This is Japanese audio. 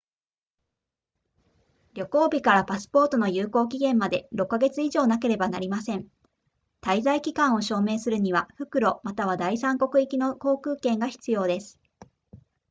旅行日からパスポートの有効期限まで6か月以上なければなりません滞在期間を証明するには復路または第三国行きの航空券が必要です